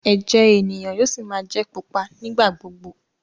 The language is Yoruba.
ẹjẹ ènìyàn yóò sí má jé pupa nigba-gbogbo.